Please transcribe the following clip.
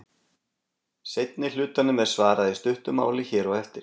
Seinni hlutanum er svarað í stuttu máli hér á eftir.